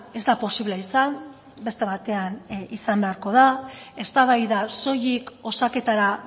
ez da posible izan beste batean izan beharko da eztabaida soilik osaketara